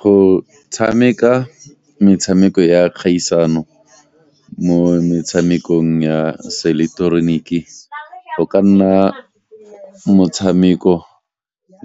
Go tshameka metshameko ya kgaisano mo metshamekong ya seileketeroniki go ka nna motshameko